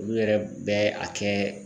Olu yɛrɛ bɛ a kɛ